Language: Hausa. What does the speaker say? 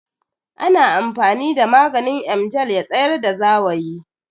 Ana amfani da maganin Emgil ya tsayar da zawayi